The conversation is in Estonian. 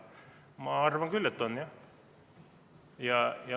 Ma arvan küll, et on.